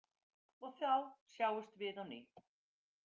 Og þá sjáumst við á ný.